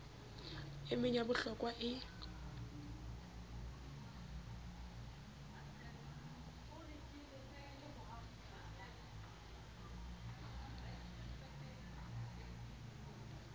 e meng ya bohlokwa e